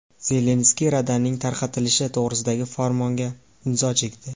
Zelenskiy Radaning tarqatilishi to‘g‘risidagi farmonga imzo chekdi.